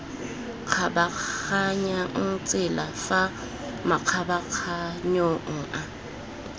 kgabaganyang tsela fa makgabaganyong a